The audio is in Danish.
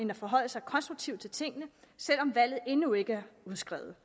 vil forholde sig konstruktivt til tingene selv om valget endnu ikke er udskrevet